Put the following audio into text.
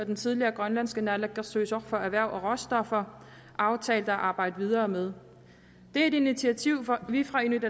den tidligere grønlandske naalakkersuisoq for erhverv og råstoffer aftalte at arbejde videre med det er et initiativ vi fra inuit